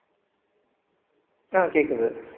ஆஹ் கேக்குது